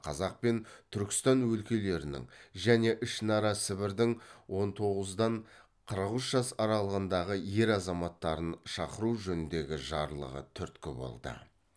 қазақ пен түркістан өлкелерінің және ішінара сібірдің он тоғыздан қырық үш жас аралығындағы ер азаматтарын шақыру жөніндегі жарлығы түрткі болды